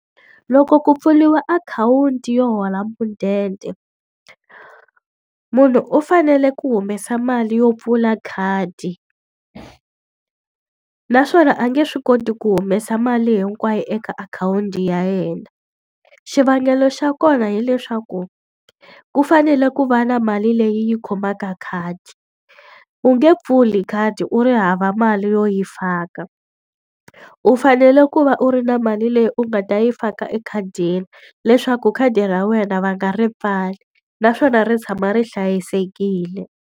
Loko ku pfuriwa akhawunti yo hola mudende, munhu u fanele ku humesa mali yo pfula khadi. Naswona a nge swi koti ku humesa mali hinkwayo eka akhawunti ya yena. Xivangelo xa kona hileswaku, ku fanele ku va na mali leyi yi khomaka khadi. U nge pfuli khadi u ri hava mali yo yi faka. U fanele ku va u ri na mali leyi u nga ta yi faka ekhadini leswaku khadi ra wena va nga ri pfali, naswona ri tshama ri hlayisekile.